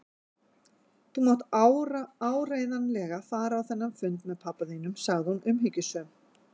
Þú mátt áreiðanlega fara á þennan fund með pabba þínum sagði hún umhyggjusöm.